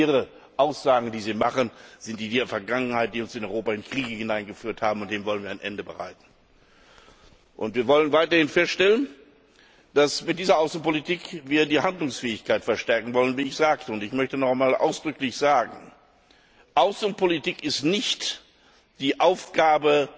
Ihre Aussagen, die Sie machen, sind die der Vergangenheit, die uns in Europa in Kriege hineingeführt haben, und dem wollen wir ein Ende bereiten. Wir wollen weiterhin feststellen, dass wir mit dieser Außenpolitik die Handlungsfähigkeit verstärken wollen, und ich möchte noch einmal ausdrücklich sagen Außenpolitik ist nicht die Aufgabe